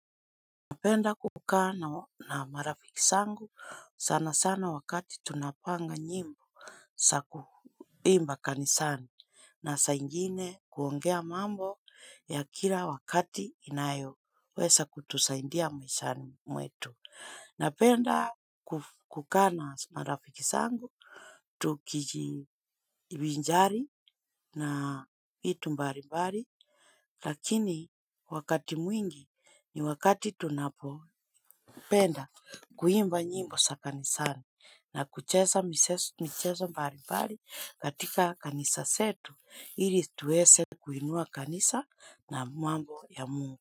Napenda kukaa na marafiki zangu sana sana wakati tunapanga nyimbo za kuimba kanisani na saa ingine kuongea mambo ya kila wakati inayo weza kutusaidia maishani mwetu. Napenda kukana marafiki zangu. Tukijivinjari na vitu mbalimbali lakini wakati mwingi ni wakati tunapo kupenda kuimba nyimbo za kanisani na kucheza mchezo mbali mbali katika kanisa zetu ili tuweze kuinua kanisa na mwambo ya mungu.